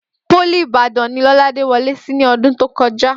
Pólì Ìbàdàn ni Lọ́ládé wọlé sí ní ọdún tó kọjá